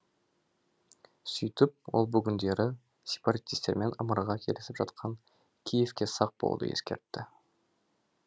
сөйтіп ол бүгіндері сепаратистермен ымыраға келісіп жатқан киевке сақ болуды ескертті